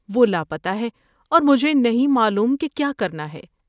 وہ لاپتہ ہے اور مجھے نہیں معلوم کہ کیا کرنا ہے۔